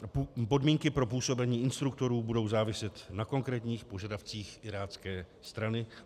Podmínky pro působení instruktorů budou záviset na konkrétních požadavcích irácké strany.